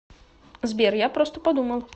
сбер я просто подумал